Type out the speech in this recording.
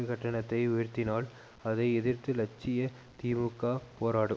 கட்டணத்தை உயர்த்தினால் அதை எதிர்த்து லட்சிய திமுக போராடும்